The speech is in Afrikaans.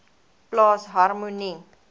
plaas harmonie